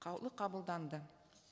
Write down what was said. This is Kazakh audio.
қаулы қабылданды